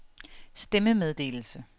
stemmemeddelelse